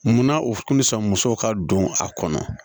Munna u tun bɛ sɔn musow ka don a kɔnɔ